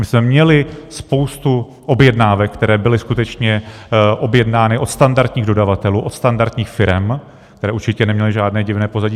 My jsme měli spoustu objednávek, které byly skutečně objednány od standardních dodavatelů, od standardních firem, které určitě neměly žádné divné pozadí.